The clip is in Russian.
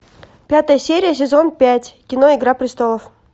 пятая серия сезон пять кино игра престолов